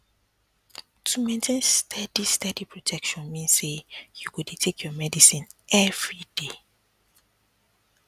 to maintain steady steady protection mean say you go dey take your medicine everyday